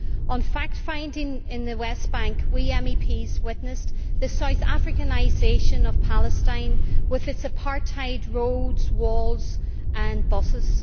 On fact finding in the West Bank, we MEPs witnessed the South Africanisation of Palestine with its apartheid roads, walls and buses.